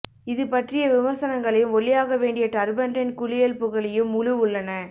இது பற்றிய விமர்சனங்களையும் ஒல்லியாகவேண்டிய டர்பெண்டைன் குளியல் புகழையும் முழு உள்ளன